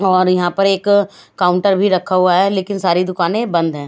और यहाँ पर एक काउंटर भी रखा हुआ है लेकिन सारी दुकाने बन्द हैं।